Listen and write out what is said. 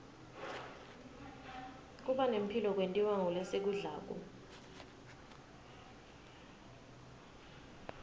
kubane mphilo kwentiwa ngulesikudlako